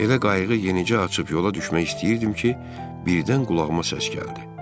Elə qayığı yenicə açıb yola düşmək istəyirdim ki, birdən qulağıma səs gəldi.